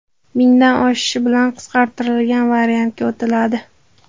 Mingdan oshishi bilan qisqartirilgan variantga o‘tiladi.